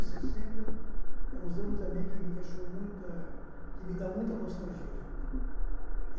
sessenta é uns anos também que me deixou muita que me dá muita nostalgia gente